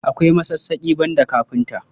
Akwai masassaƙi, banda kafinta.